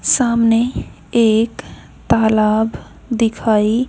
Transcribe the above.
सामने एक तालाब दिखाई--